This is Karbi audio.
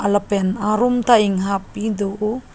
lapen arum ta inghap do o.